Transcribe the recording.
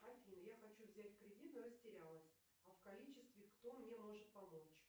афина я хочу взять кредит но растерялась а в количестве кто мне может помочь